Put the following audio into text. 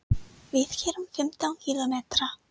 Við keyrum fimmtán kílómetra.